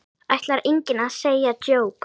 Ætlar enginn að segja djók?